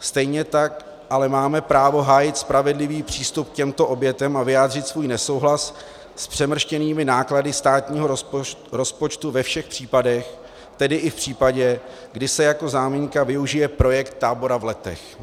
Stejně tak ale máme právo hájit spravedlivý přístup k těmto obětem a vyjádřit svůj nesouhlas s přemrštěnými náklady státního rozpočtu ve všech případech, tedy i v případě, kdy se jako záminka využije projekt tábora v Letech.